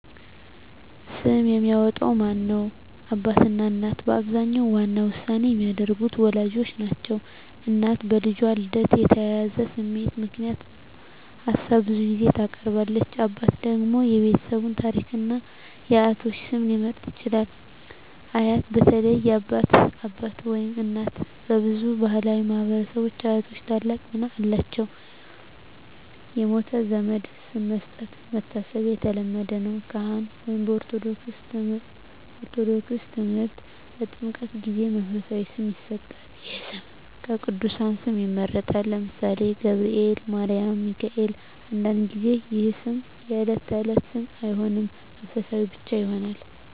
ስም የሚያወጣው ማን ነው? አባትና እናት በአብዛኛው ዋና ውሳኔ የሚያደርጉት ወላጆች ናቸው። እናት በልጁ ልደት የተያያዘ ስሜት ምክንያት ሀሳብ ብዙ ጊዜ ታቀርባለች። አባት ደግሞ የቤተሰብ ታሪክን እና የአያቶች ስም ሊመርጥ ይችላል። አያት (በተለይ የአባት አባት/እናት) በብዙ ባሕላዊ ማኅበረሰቦች አያቶች ታላቅ ሚና አላቸው። የሞተ ዘመድ ስም መስጠት (መታሰቢያ) የተለመደ ነው። ካህን (በኦርቶዶክስ ተምህርት) በጥምቀት ጊዜ መንፈሳዊ ስም ይሰጣል። ይህ ስም ከቅዱሳን ስም ይመረጣል (ለምሳሌ፦ ገብርኤል፣ ማርያም፣ ሚካኤል)። አንዳንድ ጊዜ ይህ ስም የዕለት ተዕለት ስም አይሆንም፣ መንፈሳዊ ብቻ ይሆናል።